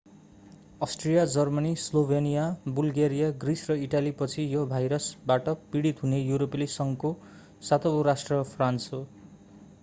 Austria Germany Slovenia Bulgaria Greece र इटालीपछि यो भाइरसबाट पीडित हुने युरोपेली संघको सातौँ राष्ट्र फ्रान्स हो